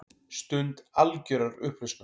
Stund algjörrar upplausnar.